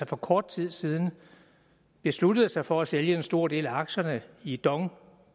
for kort tid siden besluttede sig for at sælge en stor del af aktierne i dong